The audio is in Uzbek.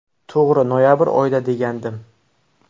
To‘g‘ri noyabr oyida degandim.